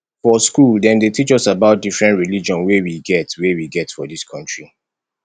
for skool dem dey teach us about different religion wey we get wey we get for dis country